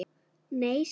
Nei, svaraði Lóa.